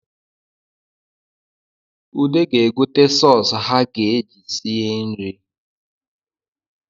Ude ga-egote sọsụ ha ga-eji sie nri